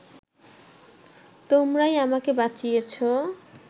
তোমরাই আমাকে বাঁচিয়েছ